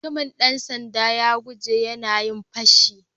Mutumin dan sanda'n ya guje yanayin fashin.